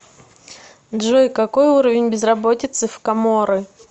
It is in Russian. джой какой уровень безработицы в коморы